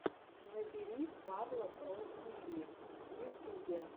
набери павла про тиви в ютюбе